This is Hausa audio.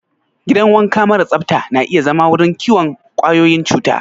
Gidan wanka mara tsafta na iya zama wurin kiwon ƙwayoyin cuta.